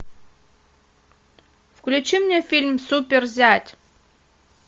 включи мне фильм супер зять